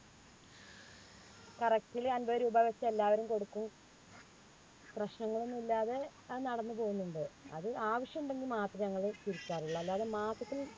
correct ല് അമ്പത് രൂപവെച്ച് എല്ലാവരും കൊടുക്കും. പ്രശ്നങ്ങളൊന്നും ഇല്ലാതെ അത് നടന്നുപോകുന്നുണ്ട്. അത് ആവശ്യമുണ്ടെങ്കിൽ മാത്രേ ഞങ്ങള് എടുക്കാറുള്ളൂ. അല്ലാതെ മാസത്തിൽ